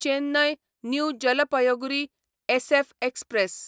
Chennai new Jalpaiguri SF express